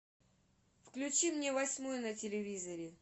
включи мне восьмой на телевизоре